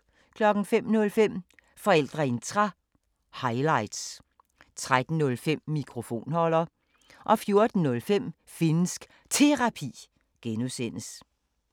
05:05: Forældreintra – highlights 13:05: Mikrofonholder 14:05: Finnsk Terapi (G)